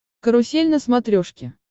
карусель на смотрешке